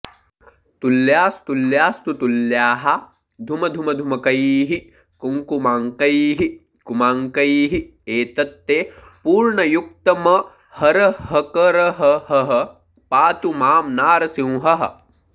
तुल्यास्तुल्यास्तु तुल्याः धुमधुमधुमकैः कुङ्कुमाङ्कैः कुमाङ्कैः एतत्ते पूर्णयुक्तमहरहकरहः पातु मां नारसिंहः